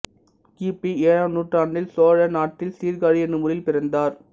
கி பி ஏழாம் நூற்றாண்டில் சோழ நாட்டில்சீர்காழி என்னும் ஊரில் பிறந்தார்